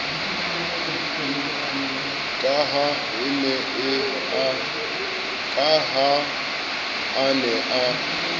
ka ha a ne a